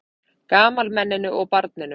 Gamalmenninu og barninu.